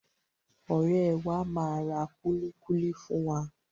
Ọ̀rẹ́ẹ wa máa ra kúlíkúlí fún wa.